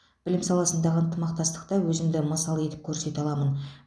білім саласындағы ынтымақтастықта өзімді мысал етіп көрсете аламын